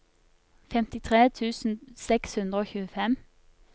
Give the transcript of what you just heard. femtitre tusen seks hundre og tjuefem